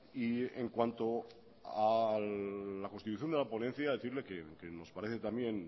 y en cuanto a la constitución de la ponencia decirle que nos parece también